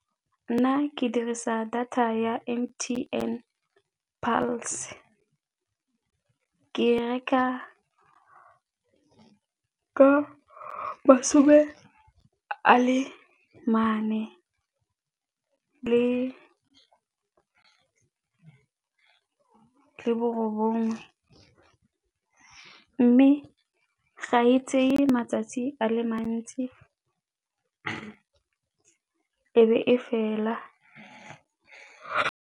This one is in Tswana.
Nna ke dirisa data ya M_T_N Pulse, ke reka ka masome a le mane le bo bongwe mme ga e tseye matsatsi a le mantsi e be e fela.